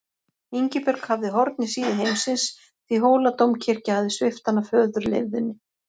Ingibjörg hafði horn í síðu heimsins því Hóladómkirkja hafði svipt hana föðurleifðinni.